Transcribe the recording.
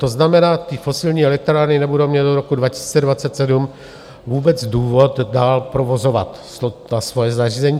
To znamená, ty fosilní elektrárny nebudou mít do roku 2027 vůbec důvod dál provozovat ta svoje zařízení.